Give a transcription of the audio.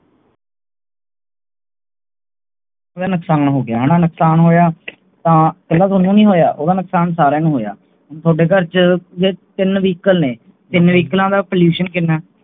ਕਿੰਨਾ ਨੁਕਸਾਨ ਹੋ ਗਿਆ ਨੁਕਸਾਨ ਹੋਇਆ ਤਾਂ ਉਹਨੇ ਨਹੀਂ ਹੋਇਆ ਓਹਦਾ ਨੁਕਸਾਨ ਸਾਰੀਆਂ ਨੂੰ ਹੋਇਆ ਤੁਹਾਡੇ ਘਰ ਤੇ ਟੀਨ Vehicle ਟੀਨ ਵਹੀਕਲਾਂ ਦਾ Pollution ਕਿਹਨਾਂ